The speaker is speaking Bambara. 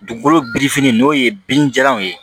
Dugukolo birifinin n'o ye binni jalanw ye